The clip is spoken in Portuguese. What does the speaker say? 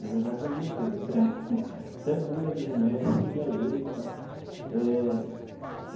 Na verdade, eu lia tudo até até bula de remédio eu queria ler e tal eh.